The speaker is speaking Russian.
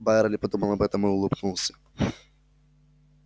байерли подумал об этом и улыбнулся